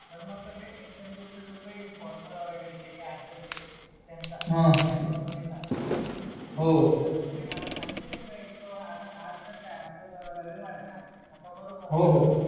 जर मग जे इन्सेन्टिव्ह जो काही फॉर्मुला वगैरे जे काय असेल ते त्यांचा हा कंपनीचा हो ते मला एकदा आज तर काय आज तर रविवार हायन तर बरोबर होहो